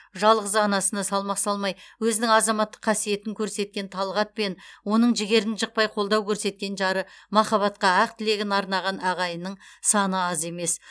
жалғыз анасына салмақ салмай өзінің азаматтық қасиетін көрсеткен талғат пен оның жігерін жықпай қолдау көрсеткен жары махаббатқа ақ тілегін арнаған ағайынның саны аз емес